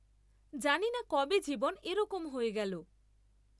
জানিনা কবে জীবন এরকম হয়ে গেল।